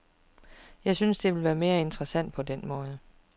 Jeg synes, det ville være mere interessant på den måde.